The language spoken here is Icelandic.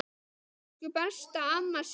Elsku besta amma Sif.